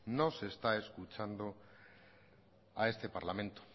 no se está escuchando a este parlamento